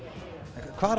hvar